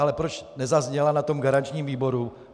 Ale proč nezazněla na tom garančním výboru?